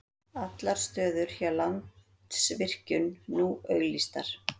Allar stöður hjá Landsvirkjun nú auglýstar